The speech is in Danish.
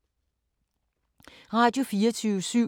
Radio24syv